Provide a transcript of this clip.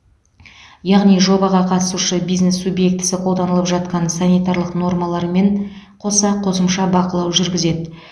яғни жобаға қатысушы бизнес субъектісі қолданылып жатқан санитарлық нормалармен қоса қосымша бақылау жүргізеді